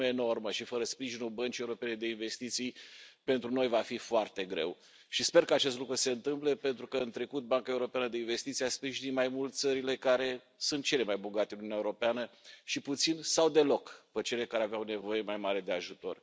este o sumă enormă și, fără sprijinul Băncii Europene de Investiții, pentru noi va fi foarte greu, și sper ca acest lucru să se întâmple pentru că în trecut Banca Europeană de Investiții a sprijinit mai mult țările care sunt cele mai bogate din Uniunea Europeană și puțin sau deloc pe cele care aveau nevoie mai mare de ajutor.